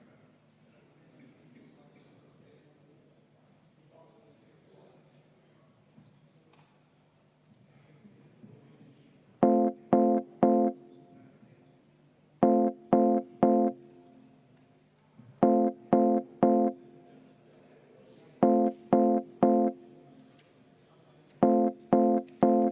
26. muudatusettepanek, mille on esitanud põhiseaduskomisjon ja põhiseaduskomisjon on seda arvestanud täielikult.